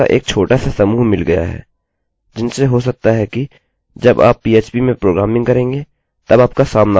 अतः हमें एरर्सerrors का एक छोटासा समूह मिल गया है जिनसे हो सकता है कि जब आप पीएचपीphp में प्रोग्रामिंग करेंगे तब आपका सामना हो